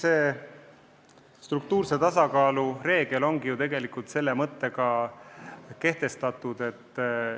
Eks struktuurse tasakaalu reegel ongi ju selle mõttega kehtestatud.